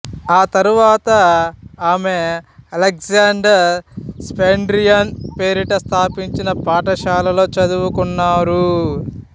తర్వాత ఆమె Alexander Spendiaryan పేరిట స్థాపించిన పాఠశాలలో చదువుకున్నారు